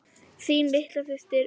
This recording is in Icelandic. Þín litla systir, Auður.